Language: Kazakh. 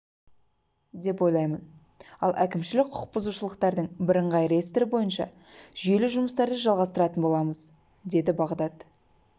деп ойлаймын ал әкімшілік құқық бұзушылықтардың бірыңғай реестрі бойынша жүйелі жұмыстарды жалғастыратын боламыз деді бағдат